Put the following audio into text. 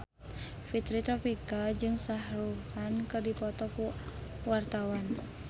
Fitri Tropika jeung Shah Rukh Khan keur dipoto ku wartawan